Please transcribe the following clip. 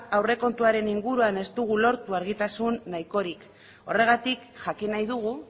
aurrekontuaren inguruan ez dugu lortu argitasun nahikorik horregatik jakin nahi dugu